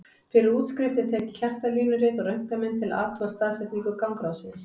Fyrir útskrift er tekið hjartalínurit og röntgenmynd til að athuga staðsetningu gangráðsins.